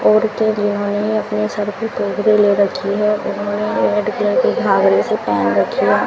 औरतें जिन्होंने अपने सर पे टोकरी ले रखी है उन्होंने रेड कलर की घाघरे सी पहन रखी है।